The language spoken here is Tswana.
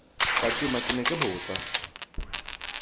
fatima ke ne ke botsa